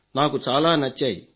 నాకు చాలా నచ్చాయి